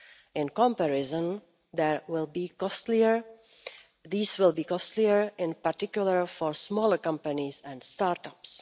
In comparison, these will be costlier, in particular for smaller companies and start ups.